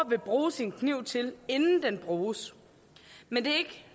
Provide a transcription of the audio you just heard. vil bruge sin kniv til inden den bruges men det